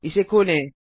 इसे खोलें